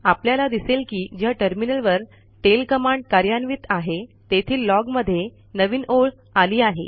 आपल्याला दिसेल की ज्या टर्मिनलवर टेल कमांड कार्यान्वित आहे तेथील लॉग मध्ये नवीन ओळ आली आहे